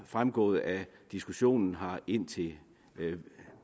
fremgået af diskussionen her indtil